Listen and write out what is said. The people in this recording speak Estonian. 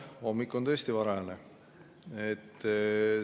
Hommik on tõesti varajane.